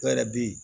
Dɔ yɛrɛ be yen